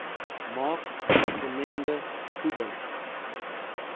maak gemengde voeding